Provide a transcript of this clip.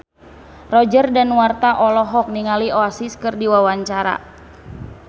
Roger Danuarta olohok ningali Oasis keur diwawancara